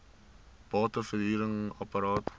bate verhuring apart